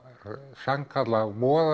sannkallað